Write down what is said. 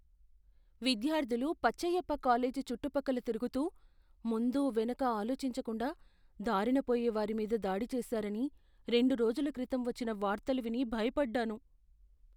విద్యార్థులు పచ్చయ్యప్ప కాలేజీ చుట్టుపక్కల తిరుగుతూ, ముందు వెనక ఆలోచించకుండా దారినపోయే వారి మీద దాడి చేసారని రెండు రోజుల క్రితం వచ్చిన వార్తలు విని భయపడ్డాను.